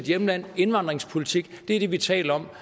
hjemland indvandringspolitik er det vi taler om